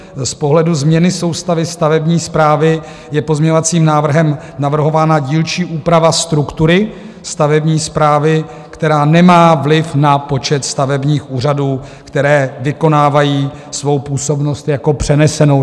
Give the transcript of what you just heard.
Z pohledu změny soustavy stavební správy je pozměňovacím návrhem navrhována dílčí úprava struktury stavební správy, která nemá vliv na počet stavebních úřadů, které vykonávají svou působnost jako přenesenou.